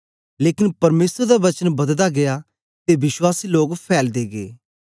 लेकन परमेसर दा वचन बददा गीया ते विश्वासी लोक फैलदे गे